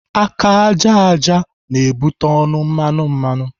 Aka ájá ájá butere ọnụ mmanụ mmanụ.